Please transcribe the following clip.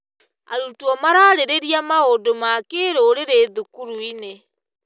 Arutwo mararĩrĩria maũndũ ma kĩrũrĩrĩ thukuru-inĩ.